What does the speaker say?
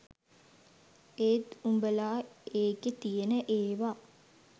ඒත් උඹලා ඒකෙ තියෙන ඒව